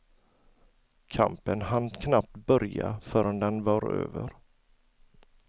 Kampen hann knappt börja förrän den var över.